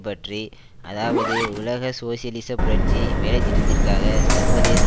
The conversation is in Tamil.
பற்றி அதாவது உலக சோசியலிச புரட்சி வேலைத்திட்டத்திற்காக சர்வதேச